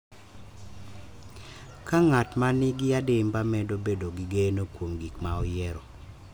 Ka ng’at ma nigi adimba medo bedo gi geno kuom gik ma oyiero,